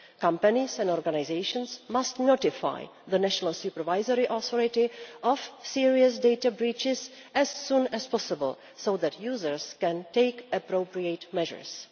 Companies and organisations must notify the national supervisory authority of serious data breaches as soon as possible so that users can take appropriate measures.